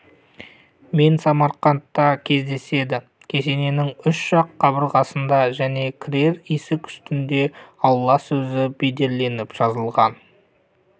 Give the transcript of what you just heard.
мен самарқандта кездеседі кесененің үш жақ қабырғасында және кірер есік үстінде алла сөзі бедерленіп жазылған